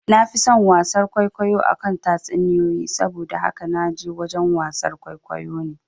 Nafi son wasar kwaikwayo akan tatsuniyoyi, saboda haka naje wajen wasar kwaikwayo ne